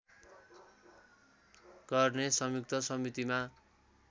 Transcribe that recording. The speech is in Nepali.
गर्ने संयुक्त समितिमा